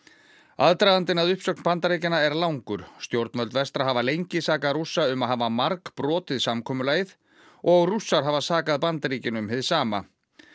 aðdragandinn að uppsögn Bandaríkjanna er langur stjórnvöld vestra hafa lengi sakað Rússa um að hafa margbrotið samkomulagið og Rússar hafa sakað Bandaríkin um hið sama